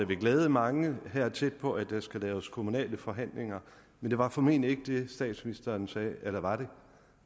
vil glæde mange her tæt på at der skal laves kommunale forhandlinger men det var formentlig ikke det statsministeren sagde eller var det